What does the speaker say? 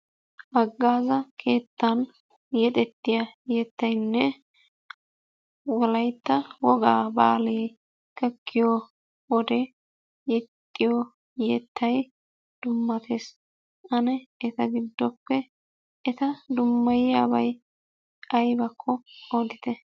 Haggaaza keettan yexettiya yettayinne wolaytta wogaa baalee gakkiyo wode yexxiyo yettayi dummates. Ane eta giddoppe eta dimmaayiyabayi aybakko odite.